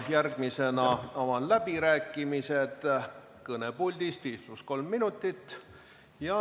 Järgmisena avan läbirääkimised, kõnepuldist 5 + 3 minutit.